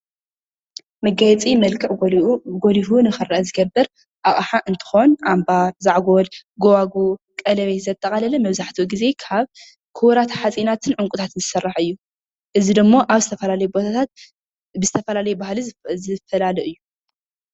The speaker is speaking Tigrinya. መጋየፂ መልክዕ ጎሊሁ ንክረአ ዝገብር ኣቅሓ እንትከውን ኣምባር፣ ዛዕጎል፣ ጎባጉብ፣ ቀለቤት ዘጠቃለለ መብዛሕትኡ ግዜ ካብ ክቡራት ሓፂናትን ዕንቁታትን ዝስርሕ እዩ፡፡ እዚ ድማ ኣብ ዝተፈላለዩ ቦታታት ብዝተፈላለየ ባህሊ ዝፈላለ እዩ፡፡